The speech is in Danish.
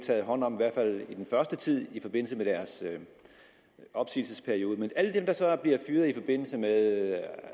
taget hånd om i hvert fald i den første tid i forbindelse med deres opsigelsesperiode men alle dem der så bliver fyret i forbindelse med